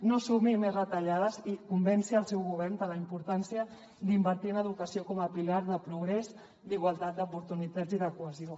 no assumeixi més retallades i convenci el seu govern de la importància d’invertir en educació com a pilar de progrés d’igualtat d’oportunitats i de cohesió